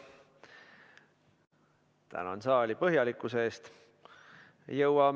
Tänan saali põhjalikkuse eest!